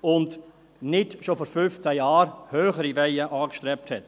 und nicht schon vor fünfzehn Jahren höhere Weihen angestrebt habe.